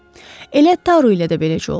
Elə Taru ilə də beləcə oldu.